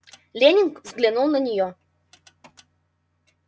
лэннинг взглянул на неё